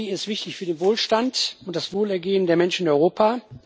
Industrie ist wichtig für den Wohlstand und das Wohlergehen der Menschen in Europa.